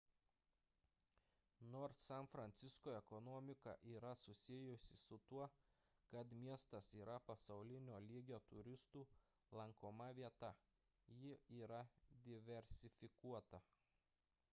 nors san francisko ekonomika yra susijusi su tuo kad miestas yra pasaulinio lygio turistų lankoma vieta ji yra diversifikuota